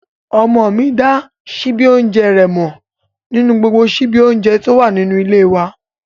Ọmọ mi dá síbí oúnjẹ rẹ̀ mọ̀ nínú gbogbo síbí oúnjẹ tó wà nínú ilé e wa